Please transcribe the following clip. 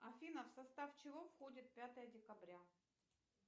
афина в состав чего входит пятое декабря